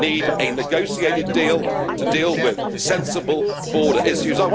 We need a negotiated deal, to deal with sensible border issues.